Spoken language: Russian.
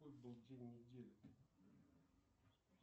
какой был день недели